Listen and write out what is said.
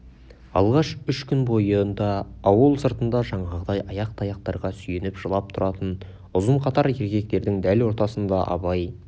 алғаш үш күн бойында ауыл сыртында жаңағыдай ақ таяқтарға сүйеніп жылап тұратын ұзын қатар еркектердің дәл ортасында абай